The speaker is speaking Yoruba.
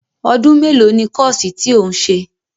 Ọdún mélòó ni kọ́ọ̀sì tí ò ń ṣe?